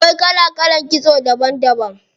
Akwai kala kalan kitso daban daban.